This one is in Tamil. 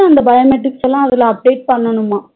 அந்த biometrics ல அதுல update பண்ணனுமா